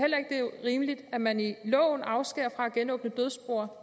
rimeligt at man i loven afskæres fra at genåbne dødsboer